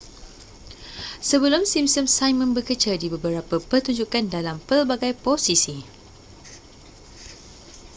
sebelum simpsons simon bekerja di beberapa pertunjukan dalam pelbagai posisi